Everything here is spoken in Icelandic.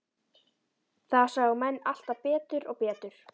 Það sáu menn alltaf betur og betur.